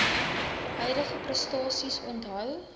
huidige prestasies onthou